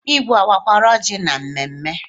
Igwe owakwara oji na mmemme?